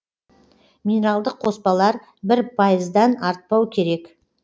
минералдық қоспалар бір пайыздан артпау керек